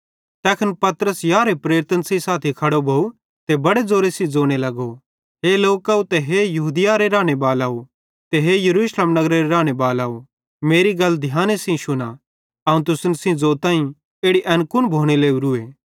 तैखन पतरस यारहे प्रेरितन सेइं साथी खड़ो भोव ते बड़े ज़ोरे सेइं ज़ोने लगो हे लोकव हे यहूदियारे रानेबालव ते हे यरूशलेम नगरेरे राने बालाव मेरी गल ध्याने सेइं शुना अवं तुसन ज़ोताईं इड़ी एन कुन भोने लोरुए